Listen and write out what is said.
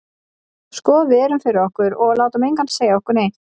Sko við erum fyrir okkur, og látum engan segja okkur neitt.